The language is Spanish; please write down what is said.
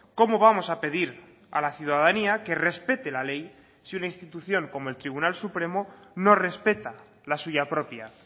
cómo vamos a pedir a la ciudadanía que respete la ley si una institución como el tribunal supremo no respeta la suya propia